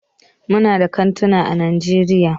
Muna da kantuna ã Najeriya.